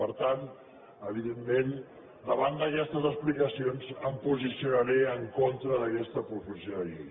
per tant evidentment davant d’aquestes explicacions em posicionaré en contra d’aquesta proposició de llei